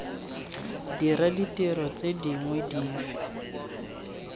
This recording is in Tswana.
dira ditiro tse dingwe dife